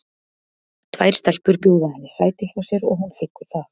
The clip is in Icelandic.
Tvær stelpur bjóða henni sæti hjá sér og hún þiggur það.